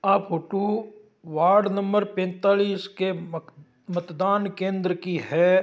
आ photo ward number पैंतालीस के मतदान केंद्र की है।